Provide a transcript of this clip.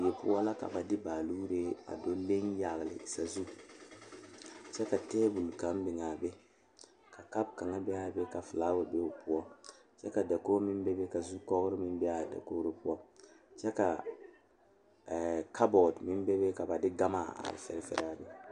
Bibiiri dɔɔba ne Pɔgeba la be sori kaŋa poɔ ka teere yaga yaga a be a be ka yiri kaŋa meŋ are a ba puori kyɛ kaa bie kaŋa seɛ kuri a su kparo ko'o zage zage kyɛ koo wiɛ o nyɛmɛ a bare ka ba de gama a fɛre fɛre a be.